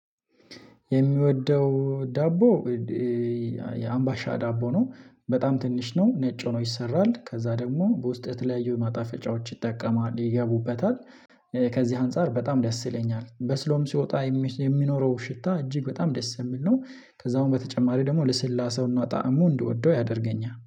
የምወደው ዳቦ የአምባሻ ዳቦ ነው። በጣም ትንሽ ነው ነጭ ሆኖ ይሰራል ከዛ ደግሞ በውስጡ ይተለያዩ ማጣፈጫዎች ይጠቀማል ይገቡበታል። ከዚህ አንፃር በጣም ደስ ይለኛል በስሎም ሲወጣ የሚኖረው ሽታ እጅግ በጣም ደስ የሚል ነው። ከዛ አሁን በተጨማሪ ደግሞ ልስላሴው እና ጣዕሙ እንድወደው ያደርገኛል